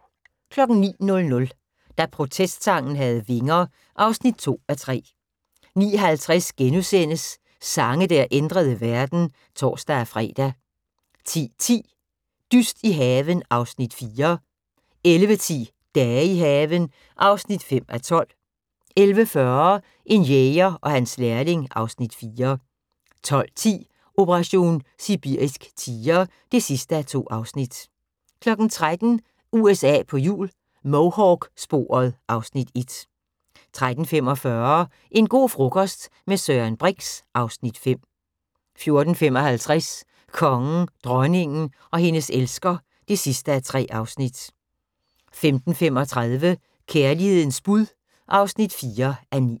09:00: Da protestsangen havde vinger (2:3) 09:50: Sange der ændrede verden *(tor-fre) 10:10: Dyst i haven (Afs. 4) 11:10: Dage i haven (5:12) 11:40: En jæger og hans lærling (Afs. 4) 12:10: Operation sibirisk tiger (2:2) 13:00: USA på hjul - Mohawk-sporet (Afs. 1) 13:45: En go' frokost - med Søren Brix (Afs. 5) 14:55: Kongen, dronningen og hendes elsker (3:3) 15:35: Kærlighedens bud (4:9)